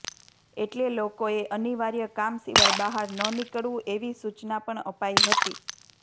એટલે લોકોએ અનિવાર્ય કામ સિવાય બહાર ન નીકળવું એવી સૂચના પણ અપાઇ હતી